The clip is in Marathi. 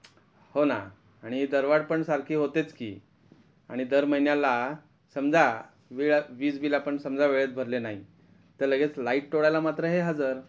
हो ना आणि दरवाढ पण सारखी होतेच कि आणि दर महिन्याला समजा विडा वीज बिल आपण समजा वेळेत भरले नाही तर लगेच लाईट तोडायला मात्र हे हजर.